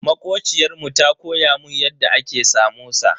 Makociyar mu ta koya mun yadda ake samosa.